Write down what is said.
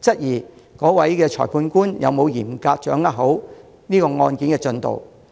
質疑該裁判官有否嚴格掌握案件的進度。